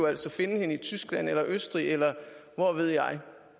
altså finde hende i tyskland eller østrig eller hvor ved jeg